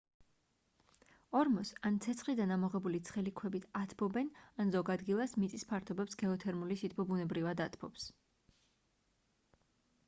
ორმოს ან ცეცხლიდან ამოღებული ცხელი ქვებით ათბობენ ან ზოგ ადგილას მიწის ფართობებს გეოთერმული სითბო ბუნებრივად ათბობს